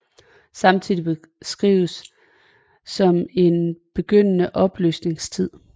Samtiden beskrives som en begyndende opløsningstid